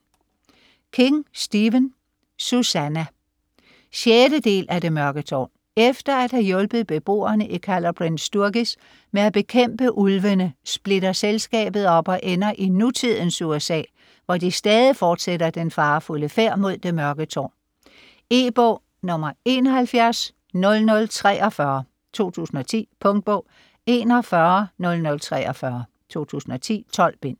King, Stephen: Susannah 6. del af Det mørke tårn. Efter at have hjulpet beboerne i Calla Bryn Sturgis med at bekæmpe ulvene, splitter selskabet op, og ender i nutidens USA, hvor de stadig fortsætter den farefulde færd mod Det Mørke tårn. E-bog 710043 2010. Punktbog 410043 2010. 12 bind.